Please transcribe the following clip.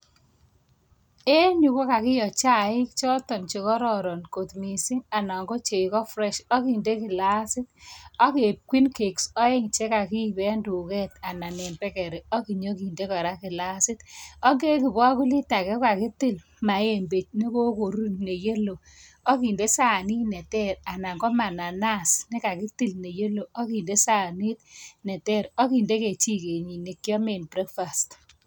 En yu kokakiyoo chaik choton chekororon kot missing. Ana. ko chegoo fresh akinde kilasit .Ak keib queen cakes oeng chekokiib en tuget anan en bekeri ak inyon kinde kora kilasit. Ak en ibokulit age kokakitil maembe nekokorur, me yellow, akinde sanit terer anan KO mananas, akinde sanit ter akinde kechiket nekiomen breakfast